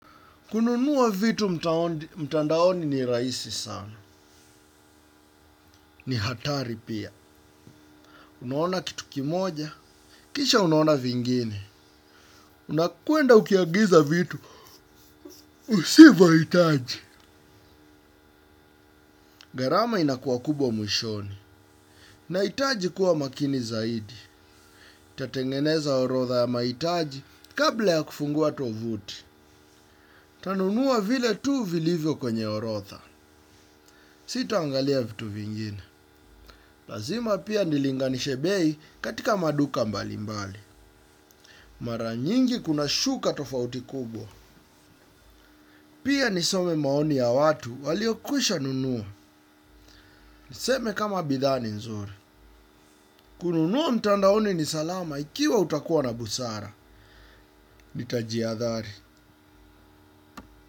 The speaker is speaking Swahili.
Kununua vitu mtandaoni ni rahisi sana. Ni hatari pia. Unaona kitu kimoja. Kisha unaona vingine. Unakuenda ukiagiza vitu. Usivyohitaji. Gharama inakuwa kubwa mwishoni. Nahitaji kuwa makini zaidi. Nitatengeneza orodha ya mahitaji kabla ya kufungua tovuti. Nitanunua vile tu vilivyo kwenye orodha. Sitaangalia vitu vingine. Lazima pia nilinganishe bei katika maduka mbalimbali. Mara nyingi kunashuka tofauti kubwa. Pia nisome maoni ya watu waliokwisha nunua. Niseme kama bidhaa ni nzuri. Kununua mtandaoni ni salama ikiwa utakuwa na busara. Nitajihadhari.